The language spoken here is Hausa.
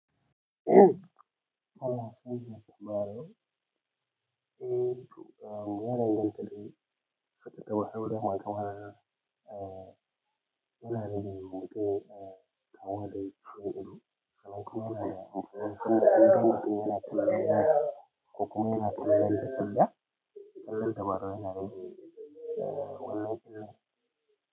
Eh a ya danganta dai.